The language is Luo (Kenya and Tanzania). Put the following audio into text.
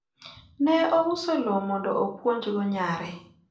ne ouso lowo mondo opuonj go nyare